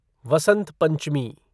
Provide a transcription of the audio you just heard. Vasant Panchami